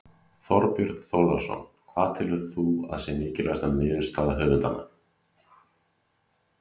Þorbjörn Þórðarson: Hvað telur þú að sé mikilvægasta niðurstaða höfundanna?